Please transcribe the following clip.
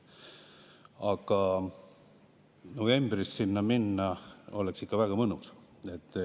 Aga novembris sinna minna oleks ikka väga mõnus.